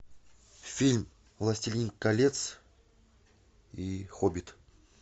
фильм властелин колец и хоббит